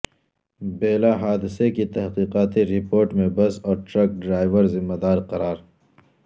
بیلہ حادثے کی تحقیقاتی رپورٹ میں بس اور ٹرک ڈرائیور ذمہ دار قرار